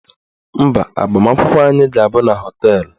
Mba, agbamakwụkwọ anyị ga-abụ na họteelụ